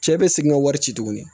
Cɛ bɛ segin ka wari ci tuguni